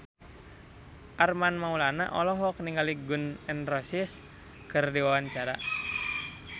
Armand Maulana olohok ningali Gun N Roses keur diwawancara